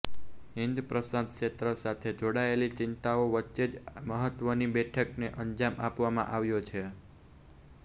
હિંદ પ્રશાંત ક્ષેત્ર સાથે જોડાયેલી ચિંતાઓ વચ્ચે જ આ મહત્વની બેઠકને અંજામ આપવામાં આવ્યો છે